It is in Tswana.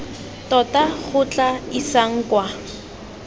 tota go tla isang kwa